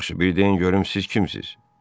Yaxşı, bir deyin görüm siz kimsiniz?